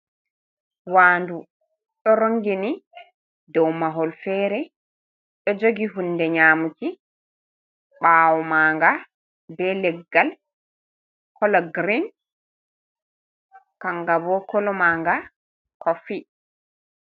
Waandu ɗoo rongini dow mahol fere ɗoo jogi hunde nyamuki. Ɓawo maaga be leggal kala green kangabo kolo manga kofi.